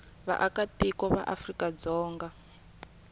vaakatiko va afrika dzonga kumbe